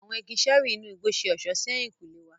Awọn igi ṣẹẹri inú igbó ṣe ọṣọ sí ehinkunle wà.